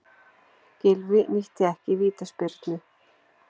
Gylfi nýtti ekki vítaspyrnu